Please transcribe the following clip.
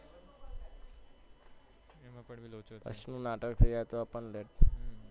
કશું નાટક કર્યા વગર